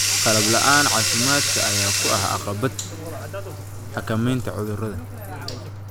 Qalab la'aan caafimaad ayaa caqabad ku ah xakameynta cudurrada.